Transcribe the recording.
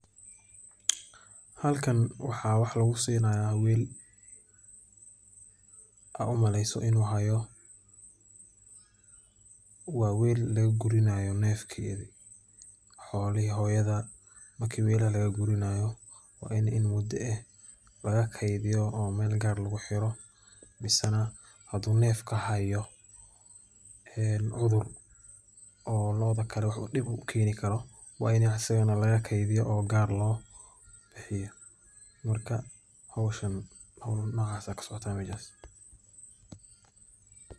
Halkan waxaa wax lagu siini haaya weel oo nin wax kussini haayo xolaha waa in neefka meel loo gudiyo hadii uu cudur haayo howl noocan ayaa kasocota meeshan.